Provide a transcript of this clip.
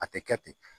A tɛ kɛ ten